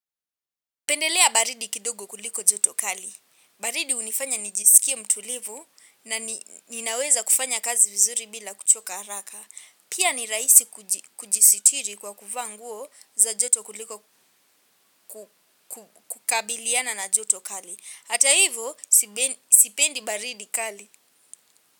Pendelea baridi kidogo kuliko joto kali. Baridi hunifanya nijisikie mtulivu na ninaweza kufanya kazi vizuri bila kuchoka haraka. Pia ni rahisi kujisitiri kwa kuvaa nguo za joto kuliko kukabiliana na joto kali. Hata hivo sipendi baridi kali.